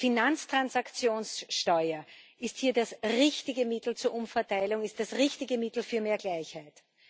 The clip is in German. Die Finanztransaktionssteuer ist hier das richtige Mittel zur Umverteilung, ist das richtige Mittel für mehr Gleichheit.